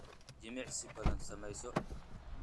jimicsi badan sameyso